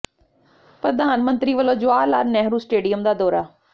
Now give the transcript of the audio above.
ਪ੍ਰਧਾਨ ਮੰਤਰੀ ਵੱਲੋਂ ਜਵਾਹਰ ਲਾਲ ਨਹਿਰੂ ਸਟੇਡੀਅਮ ਦਾ ਦੌਰਾ